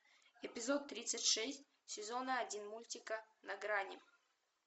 эпизод тридцать шесть сезона один мультика на грани